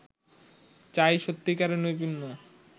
চাই সত্যিকারের নৈপুণ্য